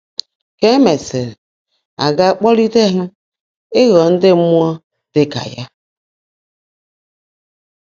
Ka e mesịrị, a ga-akpọlite ha ịghọ ndị mmụọ dị ka ya.